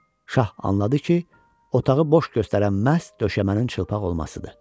Şah anladı ki, otağı boş göstərən məhz döşəmənin çılpaq olmasıdır.